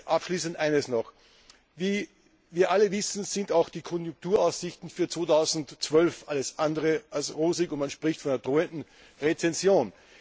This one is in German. Abschließend eines noch Wie wir alle wissen, sind auch die Konjunkturaussichten für 2012 alles andere als rosig, und man spricht von einer drohenden Rezession.